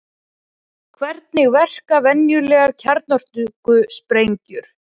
Hvernig verka venjulegar kjarnorkusprengjur?